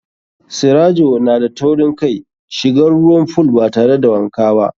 Sirajo na da taurin kai shigan ruwan fool batare da wanka ba.